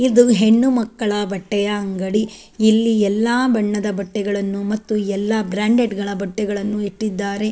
ಇದು ಹೆಣ್ಣು ಮಕ್ಕಳ ಬಟ್ಟೆಯ ಅಂಗಡಿ ಇಲ್ಲಿ ಎಲ್ಲಾ ಬಣ್ಣದ ಬಟ್ಟೆಗಳನ್ನು ಮತ್ತು ಎಲ್ಲ ಬ್ರಾಂಡೆಡ್ ಗಳ ಬಟ್ಟೆಯನ್ನು ಇಟ್ಟಿದ್ದಾರೆ.